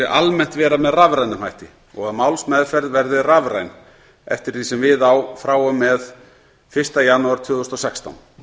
almennt vera með rafrænum hætti og að málsmeðferð verði rafræn eftir því sem við á frá og með fyrsta janúar tvö þúsund og sextán